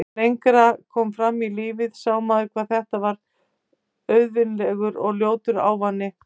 Þegar lengra kom fram í lífið sá maður hvað þetta var auvirðilegur og ljótur ávani.